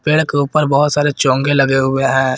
पेड़ के ऊपर बहोत सारे चोगे लगे हुए हैं।